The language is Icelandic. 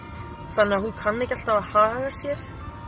þannig að hún kann ekki alltaf að haga sér